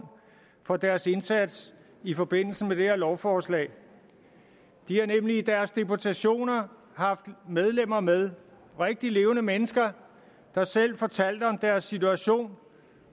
for deres indsats i forbindelse med det her lovforslag de har nemlig i deres deputationer haft medlemmer med rigtige levende mennesker der selv fortalte om deres situation